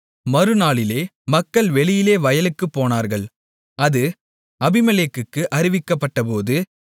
மறுநாளிலே மக்கள் வெளியிலே வயலுக்குப் போனார்கள் அது அபிமெலேக்குக்கு அறிவிக்கப்பட்டபோது